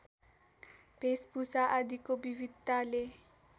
भेषभूषा आदिको विविधताले